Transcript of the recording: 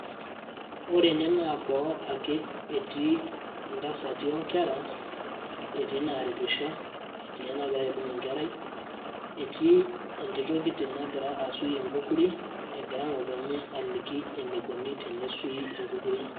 ore ene naa boo ake etii intasati onkera, etiii inaaripisho etii enagira aibung' enkerai. etii entito kiti nagira asuy enkukuri egira ngotonye aliki eneikoni tenesuuy enkukuri.